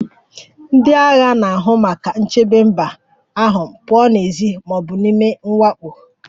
Ndị agha na-ahụ maka ichebe mba ahụ pụọ n'èzí ma ọ bụ n'ime mwakpo